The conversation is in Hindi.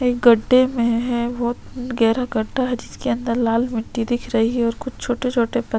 एक गड्डे मे है बहोत गेहरा गड्ड हैं जिसके अंदर लाल मिट्टी दिख रही हैंऔर कुछ छोटे-छोटे पत्थर--